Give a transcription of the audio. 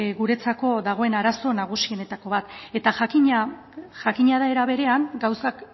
guretzako dagoen arazo nagusienetako bat eta jakina da era berean gauzak